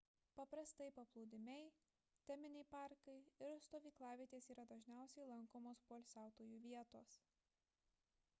paprastai paplūdimiai teminiai parkai ir stovyklavietės yra dažniausiai lankomos poilsiautojų vietos